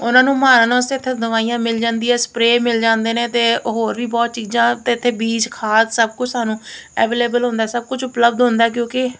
ਉਹਨਾਂ ਨੂੰ ਮਾਰਨ ਵਾਸਤੇ ਇੱਥੇ ਦਵਾਈਆਂ ਮਿਲ ਜਾਂਦੀਆਂ ਸਪਰੇ ਮਿਲ ਜਾਂਦੇ ਨੇ ਤੇ ਹੋਰ ਵੀ ਬਹੁਤ ਚੀਜ਼ਾਂ ਤੇ ਇੱਥੇ ਬੀਜ ਖਾਦ ਸਭ ਕੁਝ ਸਾਨੂੰ ਅਵੇਲੇਬਲ ਹੁੰਦਾ ਸਭ ਕੁਝ ਉਪਲਬ ਹੁੰਦਾ ਕਿਉਂਕਿ--